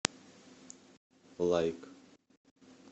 лайк